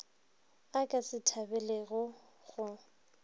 a ka se thabelego go